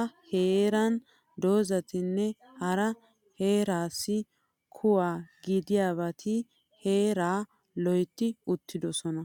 a heeran doozzatinne hara heeraassi kuwa gidiyabati heeraa loytti uttidosona.